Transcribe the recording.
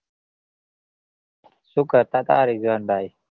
શું કરતા તા રિઝવાન ભાઈ?